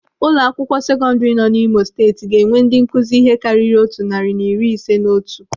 Ụlọakwụkwọ sekọndiri nọ n'Imo Steeti ga-ewe ndị nkụzi ihe karịrị otu narị na iri isii na otu.